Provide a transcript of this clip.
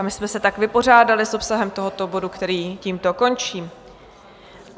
A my jsme se tak vypořádali s obsahem tohoto bodu, který tímto končím.